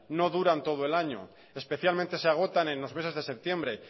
no duran todo el año especialmente se agotan en los meses de septiembre